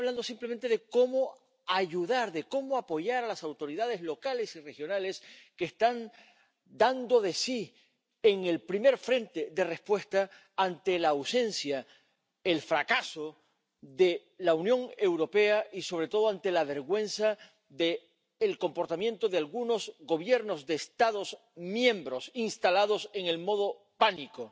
Estamos hablando simplemente de cómo ayudar, de cómo apoyar a las autoridades locales y regionales, que están dando de sí en el primer frente de respuesta ante la ausencia, el fracaso de la Unión Europea y, sobre todo, ante la vergüenza del comportamiento de algunos Gobiernos de Estados miembros instalados en el modo pánico.